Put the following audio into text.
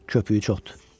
Köpüyü çoxdur.